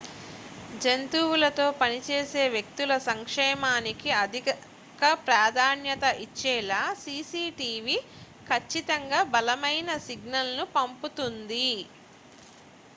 """జంతువులతో పని చేసే వ్యక్తుల సంక్షేమానికి అధిక ప్రాధాన్యత ఇచ్చేలా సిసి టీవి ఖచ్చితంగా బలమైన సిగ్నల్‌ను పంపుతుంది.""